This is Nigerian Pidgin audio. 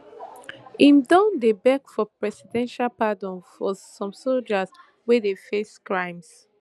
im don dey beg for presidential pardon for some us soldiers wey dey face crimes